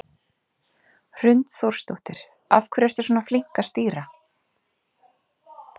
Hrund Þórsdóttir: Af hverju ertu svona flink að stýra?